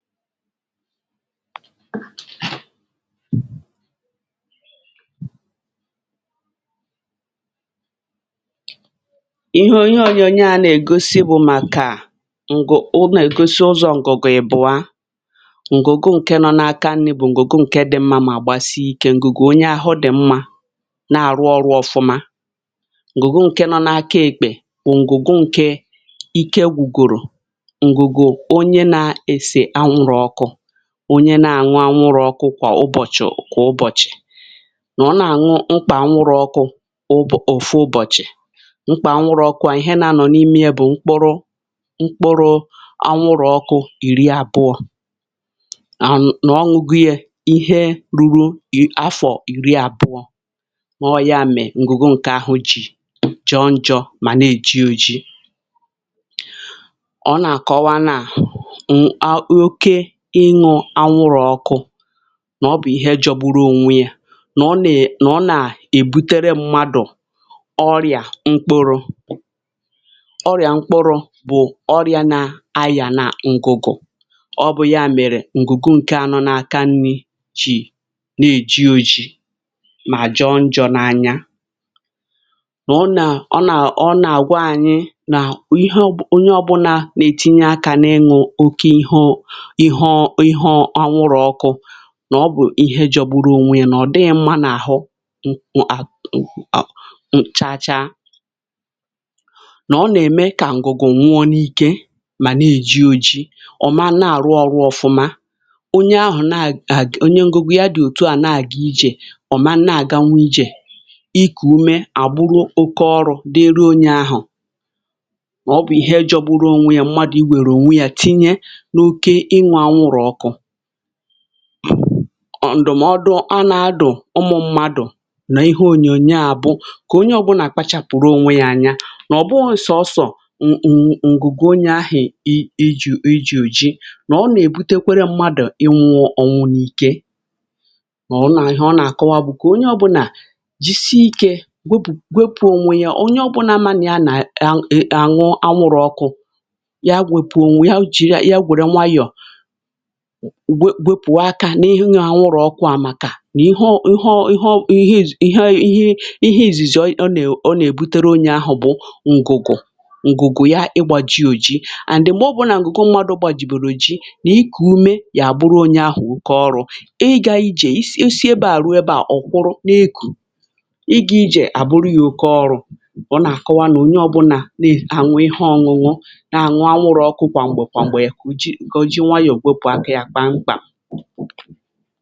Íhè ònyónyò a nà-ègósí bụ̀ màkà ǹgụ̀ ọ́ nà-ègósí ǹzọ̀ ǹgụ̀gụ̀ ì bụ̀a ǹgụ̀gụ̀ ǹké nọ̀ n’áka nrī bụ̀ ǹgụ̀gụ̀ ǹké dị̀ mmā mà gbasí ikē; ǹgụ̀gụ̀ onye ahụ̀ dị̀ mmā nà-àrụ́ ọrụ̄ ọ́fụ́mā. Ǹgụ̀gụ̀ ǹké nọ̀ n’áka ekpè bụ̀ ǹgụ̀gụ̀ ǹké ikē gwùgòrò ǹgụ̀gụ̀ onye nà-èsè anwụrụ́ ọkụ, onye nà-àṅụ́ anwụrụ́ ọkụ́ kwa ụ́bọ̀chị̀, kwa ụ́bọ̀chị̀, nà ọ́ nà-àṅụ́ mkpà anwụrụ́ ọkụ́ ụ̀fụ̀ ụ́bọ̀chị̀. Mkpà anwụrụ́ ọkụ́ à, íhè nà-anọ̀ n’ímé yà bụ̀ mkpụrụ̀ mkpụrụ̀ àṅụrụ́ ọkụ́. Ìrí àbụọ̄ à, nà ọ̀ṅụ́gìghì̄ yà, íhè rùrù̀ áfọ̀ ìrí àbụọ̄, ọ́ yà mèé ǹgụ̀gụ̀ ǹké ahụ̀ jí jọọ̣ njọ̣ mà nà-èjí òjì. Ọ́ nà-àkọ́wa nà òkè ịṅụ́ anwụrụ́ ọkụ́ nà ọ́ bụ̀ íhè è jọọ̣ gbùrù ònwé yà, nà ọ́ nà-èbutéré mmádụ̀ ọ́rịà mkpụrụ̀ ọ́rịà mkpụrụ̀ bụ̀ ọ́rịà nà-àyà nà ǹgụ̀gò̄. Ọ́ bụ̀ yà mèrè ǹgụ̀gụ̀ ǹké ànọ̀ n’áka nrī jì nà-èjí òjì mà jọọ̣ njọ̣ n’ányā. Nà ọ́ nà ọ́ nà ọ́ nà-àgwà ànyị́ nà íhè ọ́ bụ̀ onye ọ́bụ́là nà-ètìnyé akā n’ịṅụ́ oké íhè íhè anwụrụ́ ọkụ́, nà ọ́ bụ̀ íhè jọ̀gbùrù ònwé yà, nà ọ̀ dị́ghí mmā n’áhú̄ ṅ ọ̀ à ṅ cháchà, nà ọ́ nà-èmé kà ǹgụ̀gụ̀ nwuọ̄ n’íkē, mà nà-èjí òjì, ọ̀ mà nà-àrụ́ ọrụ̄ ọ́fụ́mā. Onye ahụ̀ nà-àgá, onye ǹgụ̀gụ̀ yà dị̀ òtú à, nà-àgá íjè; ọ̀ mà nà-àgá nwē íjè ikú úmé̄ àgbụrụ̀ ókè ọrụ̄ dị̀rị onye ahụ̀. Mà ọ́ bụ̀ íhè jọ̀gbùrù ònwé yà mmádụ̀ í wèrè ònwé yà tínyé nà oké ínọ̀ n’ánwụ̀rụ́ ọkụ́. Ǹdụ̀mọ́dụ̀ a nà-àdụ̀ ụmụ̀ mmádụ̀ nà íhè ònyónyò a bụ̀ kà onye ọ́bụ́nà ákpàchápụ̀rụ̀ ònwé yà ànyá̄, nà ọ̀ bụ̀ghọ́sọ̀ sọ̀sọ̀ ǹ..ǹgụ̀gụ̀ onye áhì íjụ̄ íjì òjì, nà ọ́ nà-èbutékwerè mmádụ̀ íwụọ̀ ọnwụ̀ nà íkē. Nà ọ́ nà íhè ọ́ nà-àkọ́wa bụ̀ kà onye ọ́bụ́nà jísìá ikē wepụ̀ ònwé yà, onye ọ́bụ́nà màná yà nà..à nà ṅụ́ọ anwụrụ́ ọkụ́ yà, wèpụ̀ ònwé yà, jí rì yà nwèrè̀ nwayọ̀, wepụ̀ akā n’ínọ̀ anwụrụ́ ọkụ́ à, màkà nà íhè ọ́ íhè ọ́ íhè ọ́ íhè izìzì ọ́ nà-èbutéré onye ahụ̀ bụ̀ ǹgụ̀gụ̀ ǹgụ̀gụ̀ yà ị̀gbá jí òjì and m̀gbè ọ́ bụ̀nà ǹgụ̀gụ̀ mmádụ̀ gbàjìbèrè òjì nà ikú úmé̄ yà, àbụrụ̀ onye ahụ̀ ókè ọrụ̄ ígá ijé ìsí ebeà ruō ebeà. Ọ̀ kwụrụ̀ n’èkù́ ígá ijé, àbụrụ̀ yà ókè ọrụ̄. Ọ́ nà-àkọ́wa nà onye ọ́bụ́nà nà-ànụ́ íhè ọ̀ṅụ́nọ̀ nà-àṅwụ́ anwụrụ́ ọkụ́ kwa m̀gbè, kwa m̀gbè, kà ọ́ jírì nwayọ̀ wepụ̀ akā yà mkpámkpá.